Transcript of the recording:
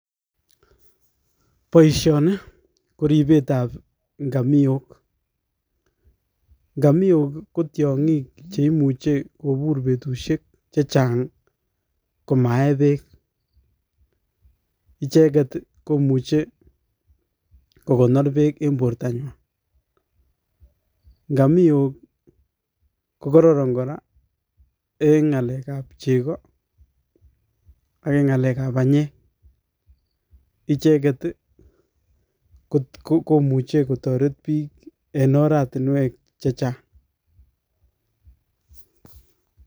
Boisioni koribeetab ngamiok, ngamiok ko tiongiik cheimuche kobuur betusiek chechang komayee beek, icheget komuuche kokonoor beek en bortanywan. Ngamiok kokororon kora en ngalekab chegoo ak en ngalekab banyeek. Icheget I komuche Kotoret bike en oratinwek chechang.